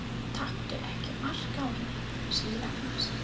Taktu ekki mark á henni, segir Agnes.